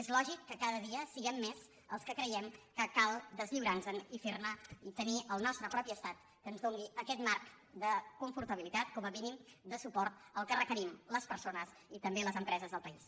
és lògic que cada dia siguem més els que creiem que cal deslliurar·nos·en i tenir el nostre propi estat que ens doni aquest marc de confortabilitat com a mínim de suport al que reque·rim les persones i també les empreses del país